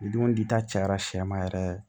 Dunta cayara sɛma yɛrɛ